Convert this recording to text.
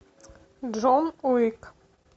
джон уик